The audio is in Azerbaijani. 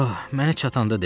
Məni çatanda dedi.